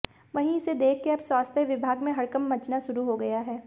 वहीं इसे देखकर अब स्वास्थ्य विभाग में हड़कंप मचना शुरू हो गया है